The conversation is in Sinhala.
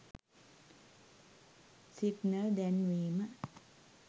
සිග්නල් දැන්වීම